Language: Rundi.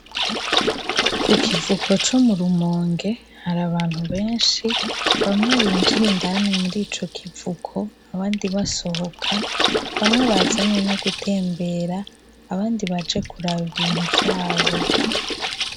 Ku kivuko co mu Rumonge, hari abantu benshi bamwe binjira indani muri ico kivuko abandi basohoka; bamwe bazanywe no gutembera abandi baje kuraba ibintu vyabo.